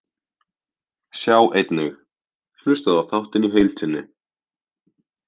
Sjá einnig: Hlustaðu á þáttinn í heild sinni